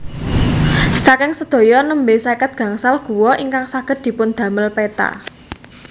Saking sedaya nembé seket gangsal gua ingkang saged dipundamel péta